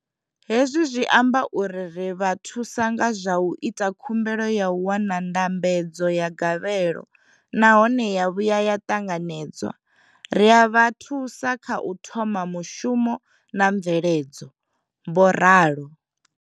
Hezwi zwi amba uri ri vha thusa nga zwa u ita khumbelo ya u wana ndambedzo ya gavhelo nahone ya vhuya ya ṱanganedzwa ri a vha thusa kha u thoma mushumo na mveledzo, vho ralo.